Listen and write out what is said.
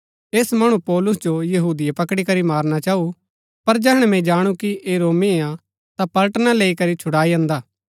ऐस मणु पौलुस जो यहूदिये पकड़ी करी मारणा चाऊ पर जैहणै मैंई जाणु कि ऐह रोमी हा ता पलटना लैई करी छुड़ाई अन्दा